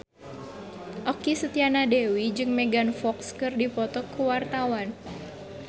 Okky Setiana Dewi jeung Megan Fox keur dipoto ku wartawan